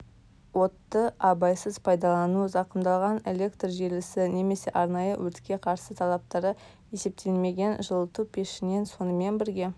отты абайсыз пайдалану зақымдалған электржелісі немесе арнайы өртке қарсы талаптары есептелмеген жылыту пешінен сонымен бірге